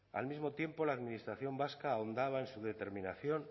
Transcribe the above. al mismo tiempo la administración vasca ahondaba en su determinación